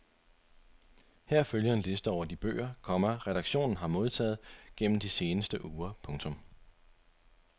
Her følger en liste over de bøger, komma redaktionen har modtaget gennem de seneste uger. punktum